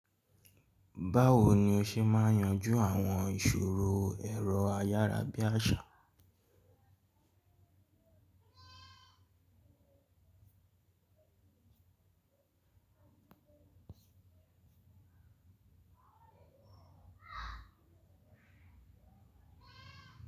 Báwo ni o ṣe máa yanjú àwọn ìṣòro ẹ̀rọ ayárabíàṣá?